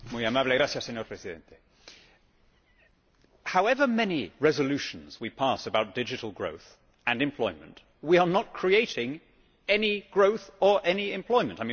Mr President, however many resolutions we pass about digital growth and employment we are not creating any growth or any employment.